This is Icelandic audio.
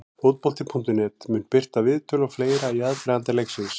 Fótbolti.net mun birta viðtöl og fleira í aðdraganda leiksins.